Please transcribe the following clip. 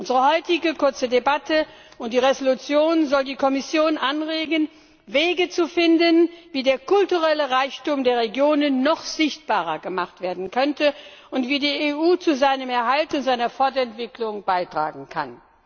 Unsere heutige kurze Debatte und die Entschließung sollen die Kommission anregen, Wege zu finden, wie der kulturelle Reichtum der Regionen noch sichtbarer gemacht werden könnte und wie die EU zu seinem Erhalt und seiner Fortentwicklung beitragen kann.